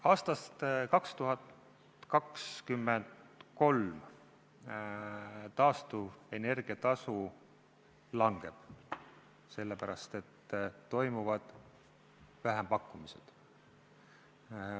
Aastast 2023 taastuvenergia tasu langeb, sest toimuvad vähempakkumised.